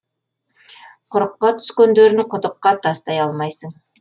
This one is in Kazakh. құрыққа түскендерін құдыққа тастай алмайсың